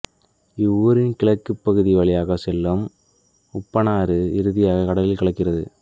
இவ்வூரின் கிழக்கு பகுதி வழியாக செல்லும் உப்பனாறு இறுதியாக கடலில் கலக்கின்றது